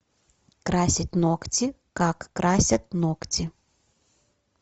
красить ногти как красят ногти